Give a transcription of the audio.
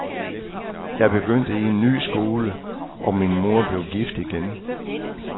Jeg begyndte i en ny skole, og min mor blev gift igen.